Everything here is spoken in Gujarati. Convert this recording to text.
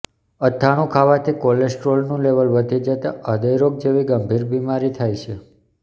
અથાણુ ખાવાથી કોલેસ્ટ્રોલનું લેવલ વધી જતા હૃદયરોગ જેવી ગંભીર બીમારી થાય છે